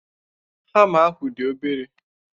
Hama ahụ dị obere.